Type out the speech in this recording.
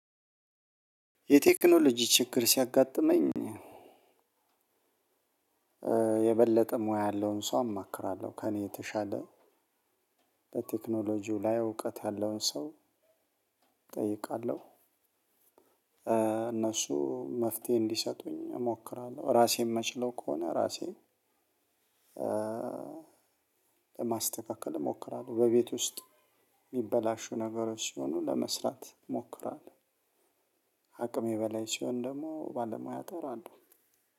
የቴክኖሎጂ ችግር ሲያጋጥመኝ የበለጠ ሙያ ያለውን ሰው አማክራለሁ ከእኔ የተሻለ በቴክኖሎጂው ላይ እውቀት ያለውን ሰው እጠይቃለሁ። እነሱ መፍትሄ እንዲሰጡኝ እሞክራለሁ እራሴ እምችለው ከሆነ እራሴ ለማስተካከል እሞክራለሁ። በቤት ውስጥ እሚበላሹ ነገሮች ሲሆኑ ለመስራት እሞክራለሁ። ከእኔ በላይ ሲሆን ደግሞ ባለሙያ እጠራለው።